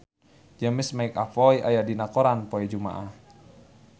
James McAvoy aya dina koran poe Jumaah